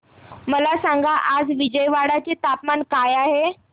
मला सांगा आज विजयवाडा चे तापमान काय आहे